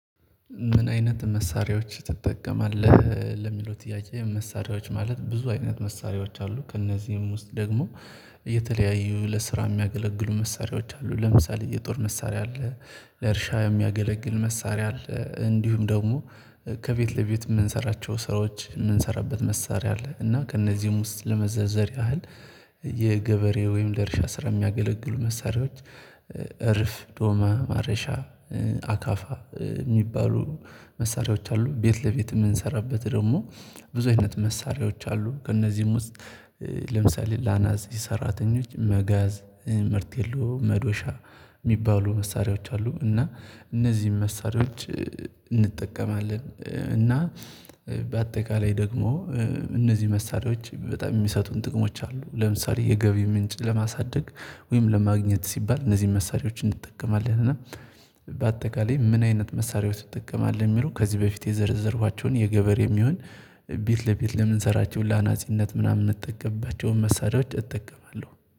ምን አይነት መሳሪያዎች ትጠቀማለህ ለሚለው ጥያቄ? መሳሪያዎች ማለት ብዙ አይነት መሳሪያዎች አሉ ከእነዚህም ውስጥ ደግሞ እየተለያዩ ለስራ የሚያገለግሉ መሳሪያዎች አሉ ለምሳሌ የጦር መሳሪያ አለ። ለእርሻ የሚያገለግል መሳሪያ አለ እንዲሁም ደግሞ ከቤት ለቤት የምንሰራቸው ስራዎች የምንሰራበት መሳሪያ አለ። እና ከእነዚህም ውስጥ ለመዘዘር ያህል የገበሬ ወይም ለርሻ ስራ የሚያገለግሉ መሳሪያዎች እርፍ ዶማ ማረሻ አካፋ የሚባሉ መሳሪያዎች አሉ። ቤት ለቤት የምንሰራበት ደግሞ ብዙ አይነት መሳሪያዎች አሉ። ከእነዚህም ውስጥ ለአናጺ ሰራተኞች መጋዝ መርቴሎ መዶሻ የሚባሉ መሳሪያዎች አሉ። እና እነዚህን መሳሪያዎች እንጠቀማለን እና በአጠቃላይ ደግሞ እነዚህ መሳሪያዎች በጣም የሚሰጡን ጥቅሞች አሉ። ለምሳሌ የገቢ ምንጭ ለማሳደግ ወይም ለማግኘት ሲባል እነዚህን መሳሪያዎች እንጠቀማለን። እና በአጠቃላይ ምን አይነት መሳሪያዎች ትጠቀማለህ የሚለው? ከዚህ በፊት የዘረዘርኳቸውን የገበር የሚሆን ቤት ለቤት ለምንሰራቸው ለአናጺነት ምናምን የምንጠቀምባቸው መሳሪያዎች እጠቀማለሁ